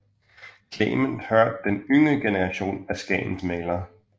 Clement hørte til den yngre generation af skagensmalere